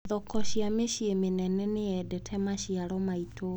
Thoko cia mĩci mĩnene nĩyendete maciaro maitũ.